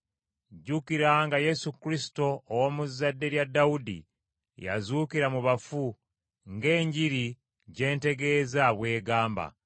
Jjukira nga Yesu Kristo ow’omu zzadde lya Dawudi yazuukira mu bafu ng’Enjiri gye ntegeeza bw’egamba.